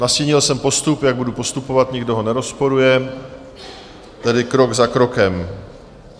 Nastínil jsem postup, jak budu postupovat, nikdo ho nerozporuje, tedy krok za krokem.